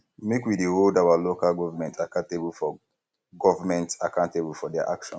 make we dey hold um our local government accountable for government accountable for their actions